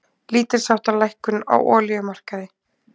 Lítilsháttar lækkun á olíumarkaði